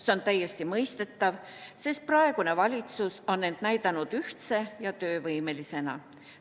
See on täiesti mõistetav, sest praegune valitsus on end näidanud ühtse ja töövõimelisena.